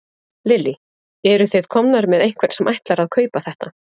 Lillý: Eruð þið komnir með einhvern sem ætlar að kaupa þetta?